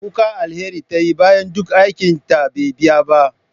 Kuka Alheri tayi bayan duk aikinta bai biya ba.